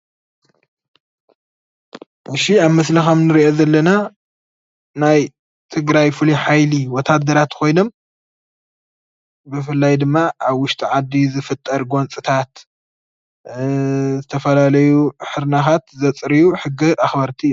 ኣብ ምስሊ ንሪኦ ከምዘለና ናይ ትግራይ ፍሉይ ሓይሊ ወታደራት ኮይኖም ብፍላይ ድማ ኣብ ውሽጢ ዓዲ ዝፍጠር ጐንፅታት ዝተፈላለዩ ሕርናኻት ዘፅርዩ ሕጊ ኣኽበርቲ እዮም፡፡